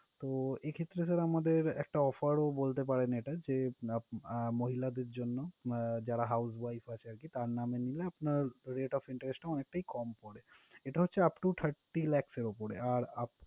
তো এক্ষেত্রে sir আমাদের একটা offer ও বলতে পারেন। এটা যে আহ মহিলাদের জন্য, আহ যারা housewife আছে আরকি। তার নামে নিলে আপনার rate of interest টা অনেকটা কম পড়ে। এটা হচ্ছে up to thirty lakhs এর ওপরে আর